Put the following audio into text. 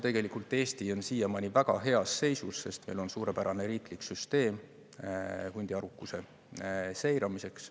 Tegelikult Eesti on siiamaani väga heas seisus, sest meil on suurepärane riiklik süsteem hundi arvukuse seiramiseks.